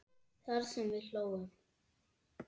Það sem við hlógum.